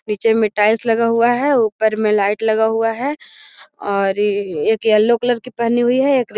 निचे में टाइल्स लगा हुआ है ऊपर में लाइट्स लगा हुआ है और एक येलो कलर की पहनी हुई है एक --